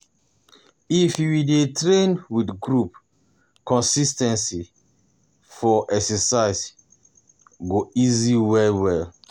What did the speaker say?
If you you dey train with group, consis ten cy for exercise go easy well well.